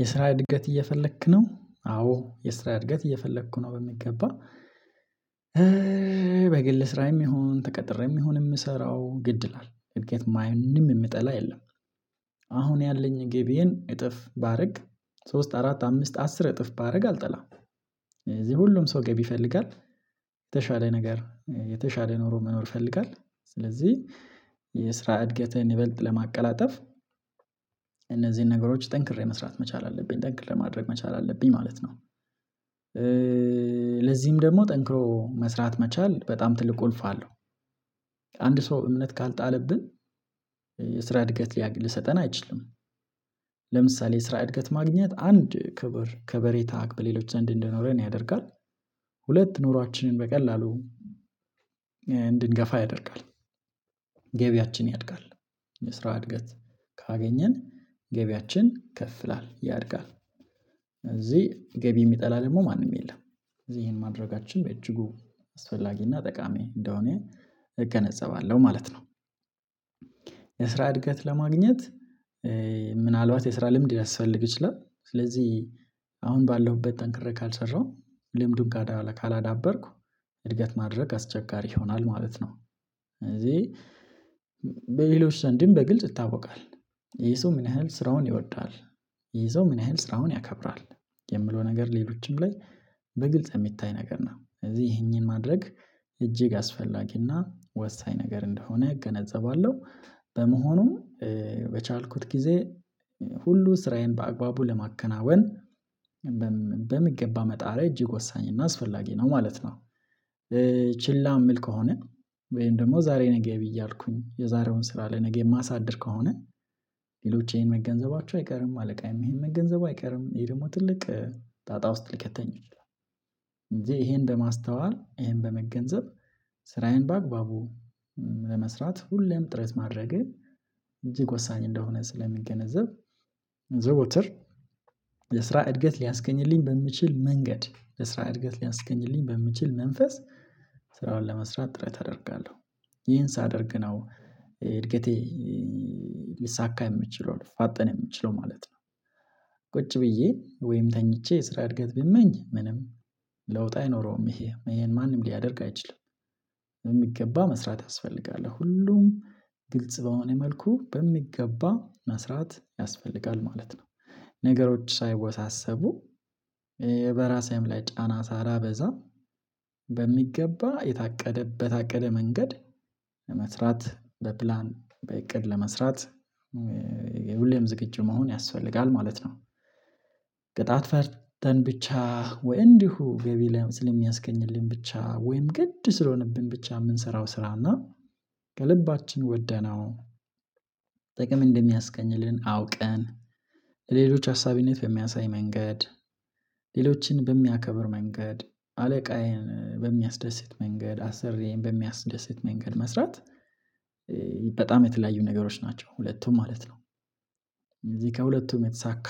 የስራ እድገት እየፈለክ ነው? አዎ የስራ እድገት እየፈለኩ ነው በሚገባ በግል ስራዬም ይሁን ተቀጥሬም ይሁን የምሰራው ግድ ይላል እድገት ማንም የምጠላ የለም። አሁን ያለኝ ገቢዬን እጥፍ ባደርግ ሶስት አራት አምስት አስር እጥፍ ባደርግ አልጠላም። እዚህ ሁሉም ሰው ገቢ ይፈልጋል የተሻለ ነገር የተሻለ ኑሮ መኖር ይፈልጋል። ስለዚህ የስራ እድገትን ይበልጥ ለማቀላጠፍ እነዚህን ነገሮች ጠንክሬ መስራት መቻል አለብኝ ጠንክሬ ለማድረግ መቻል አለብኝ ማለት ነው። ለዚህም ደግሞ ጠንክሮ መስራት መቻል በጣም ትልቅ ቁልፍ አለው። አንድ ሰው እምነት ካልጣለብን የስራ እድገት ሊሰጠን አይችልም። ለምሳሌ የስራ እድገት ማግኘት አንድ ክብር ከበሬታ በሌሎች ዘንድ እንደኖረን ያደርጋል። ሁለት ኑሯችንን በቀላሉ እንድንገፋ ያደርጋል ገቢያችን ያድጋል የስራ እድገት ካገኘን ገቢያችን ከፍ ይላል ያድጋል። እዚህ ገቢ የሚጠላ ደግሞ ማንም የለም እዚህ ይሄን ማድረጋችን በእጅጉ አስፈላጊና እና ጠቃሚ እንደሆነ እገነዘባለሁ ማለት ነው። የስራ እድገት ለማግኘት ምናልባት የስራ ልምድ ሊያስፈልግ ይችላል። ስለዚህ አሁን ባለሁበት ጠንክሬ ካልሰራሁ ልምዱን ካላዳበርኩ እድገት ማድረግ አስቸጋሪ ይሆናል ማለት ነው። ስለዚህ በሌሎች ሰንድም በግልጽ ይታወቃል ይሄ ሰው ምን ያህል ስራውን ይወዳል? ይሄ ሰው ምን ያህል ስራውን ያከብራል? የምለው ነገር ሌሎችም ላይ በግልጽ የሚታይ ነገር ነው እዚህ ይሄንን ማድረግ እጅግ አስፈላጊና ወሳኝ ነገር እንደሆነ እገነዘባለሁ። በመሆኑም በቻልኩት ጊዜ ሁሉ ስራዬን በአግባቡ ለማከናወን በሚገባ መጣሬ እጅግ ወሳኝ እና አስፈላጊ ነው ማለት ነው። ችላ የምል ከሆነ ወይም ደግሞ ዛሬ ነገ ብዬ እያልኩኝ የዛሬውን ስራ ለነገ የማሳድር ከሆነ ሌሎች ይሄን መገንዘባቸው አይቀርም አለቃዬም ይሄን መገንዘቡ አይቀርም። ይሄ ደግሞ ትልቅ ጣጣ ውስጥ ልከተኝ ይላል። እንጂ ይሄን እንደ ማስተዋል ይሄን በመገንዘብ ስራዬን በአግባቡ ለመስራት ሁሌም ጥረት ማድረጌ እጅግ ወሳኝ እንደሆነ ስለምገነዘብ ዘወትር የስራ እድገት ሊያስገኝልኝ በሚችል መንገድ ለስራ እድገት ሊያስገኝልኝ በምችል መንፈስ ስራውን ለመስራት ጥረት አደርጋለሁ። ይሄን ሳደርግ ነው እድገቴ ሊሳካ የምችለው ሊፋጠን የምችለው ማለት ነው። ቁጭ ብዬ ወይም ተኝቼ የስራ እድገት ብመኝ ምንም ለውጥ አይኖረውም ይሄ ማንም ሊያደርግ አይችልም። በሚገባ መስራት ያስፈልጋል ሁሉም ግልጽ በሆነ መልኩ በሚገባ መስራት ያስፈልጋል ማለት ነው። ነገሮች ሳይወሳሰቡ በራሴም ላይ ጫና ሳላ በዛ በሚገባ የታቀደበት በታቀደ መንገድ ለመስራት በፕላን በእቅድ ለመስራት የሁሌም ዝግጁ መሆን ያስፈልጋል ማለት ነው። ቅጣት ፈርተን ብቻ ወይ እንዲሁ ገቢ ስለሚያስገኝልኝ ብቻ ወይም ግድ ስለሆነብን ብቻ የምንሰራው ስራና ከልባችን ወደናው ጥቅም እንደሚያስገኝልን አውቀን ለሌሎች አሳቢነት በሚያሳይ መንገድ ሌሎችን በሚያከብር መንገድ አለቃዬን በሚያስደስት መንገድ አሰርዬን በሚያስደስት መንገድ መስራት በጣም የተለያዩ ነገሮች ናቸው ሁለቱም ማለት ነው። እዚህ ከሁለቱም የተሳካ